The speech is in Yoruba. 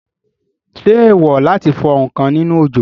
Ṣé èèwò láti fọ ǹkan nínú òjò?